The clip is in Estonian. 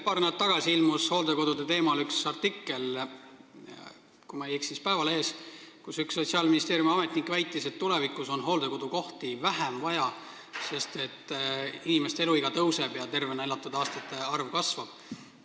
Paar nädalat tagasi ilmus hooldekodude teemal üks artikkel – kui ma ei eksi, siis Päevalehes –, kus üks Sotsiaalministeeriumi ametnik väitis, et tulevikus on hooldekodukohti vaja vähem, sest inimeste eluiga tõuseb ja tervena elatud aastate arv kasvab.